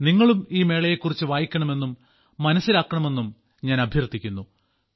നിങ്ങളും ഈ മേളയെക്കുറിച്ച് വായിക്കണമെന്നും മനസ്സിലാക്കണമെന്നും ഞാൻ അഭ്യർത്ഥിക്കുന്നു